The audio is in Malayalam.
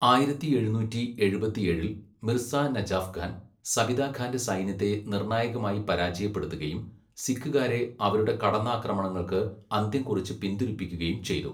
ആയിരത്തി എഴുന്നൂറ്റി എഴുപത്തിയേഴിൽ മിർസ നജാഫ് ഖാൻ, സബിത ഖാന്റെ സൈന്യത്തെ നിർണ്ണായകമായി പരാജയപ്പെടുത്തുകയും, സിഖുകാരെ അവരുടെ കടന്നാക്രമണങ്ങൾക്ക് അന്ത്യം കുറിച്ച് പിന്തിരിപ്പിക്കുകയും ചെയ്തു.